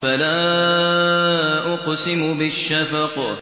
فَلَا أُقْسِمُ بِالشَّفَقِ